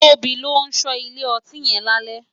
Tobi n lò so ile òtín yen lálè